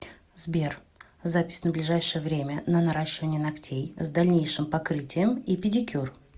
сбер запись на ближайшее время на наращивание ногтей с дальнейшим покрытием и педикюр